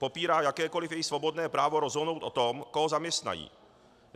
Popírá jakékoliv jejich svobodné právo rozhodnout o tom, koho zaměstnají.